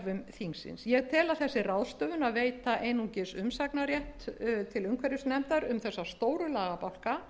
þingsins ég tel að þessi ráðstöfun að veita einungis umsagnarrétt til umhverfisnefndar um þessa stóru lagabálka